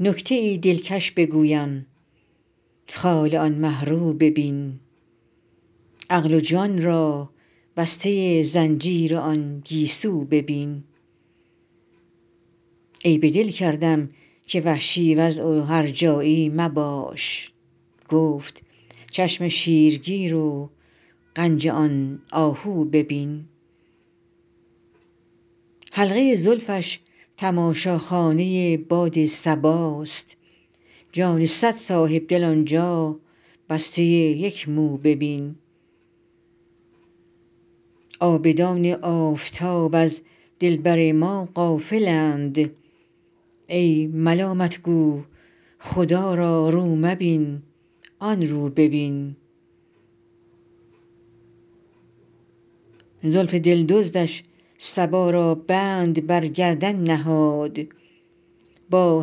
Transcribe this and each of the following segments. نکته ای دلکش بگویم خال آن مه رو ببین عقل و جان را بسته زنجیر آن گیسو ببین عیب دل کردم که وحشی وضع و هرجایی مباش گفت چشم شیرگیر و غنج آن آهو ببین حلقه زلفش تماشاخانه باد صباست جان صد صاحب دل آن جا بسته یک مو ببین عابدان آفتاب از دلبر ما غافل اند ای ملامت گو خدا را رو مبین آن رو ببین زلف دل دزدش صبا را بند بر گردن نهاد با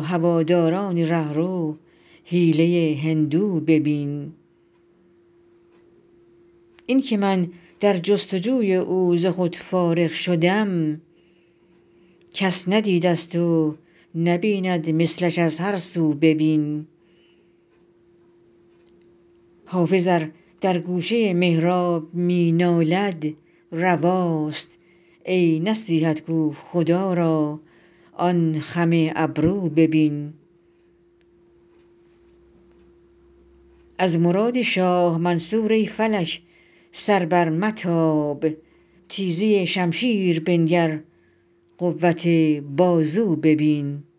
هواداران ره رو حیله هندو ببین این که من در جست وجوی او ز خود فارغ شدم کس ندیده ست و نبیند مثلش از هر سو ببین حافظ ار در گوشه محراب می نالد رواست ای نصیحت گو خدا را آن خم ابرو ببین از مراد شاه منصور ای فلک سر برمتاب تیزی شمشیر بنگر قوت بازو ببین